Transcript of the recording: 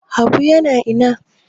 Habu yana ina?